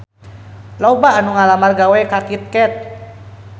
Loba anu ngalamar gawe ka Kit Kat